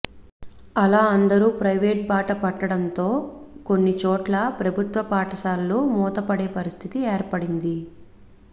అలా అందరూ ప్రైవేట్ బాట పట్టడంతో కొన్నిచోట్ల ప్రభుత్వ పాఠశాలలు మూతపడే పరిస్థితి ఏర్పడింది